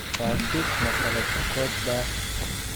Kaasi ma qalab sukot baa?